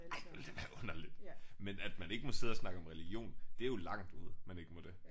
Ej ville da være underligt. Men at man ikke må sidde og snakke om religion det er jo langt ude man ikke må det